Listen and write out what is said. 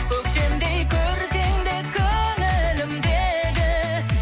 көктемдей көркіңде көңілімдегі